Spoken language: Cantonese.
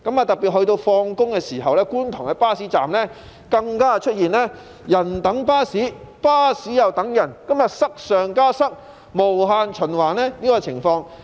到了下班時分，觀塘的巴士站更出現"人等巴士、巴士又等人"的現象，塞上加塞的情況無限循環。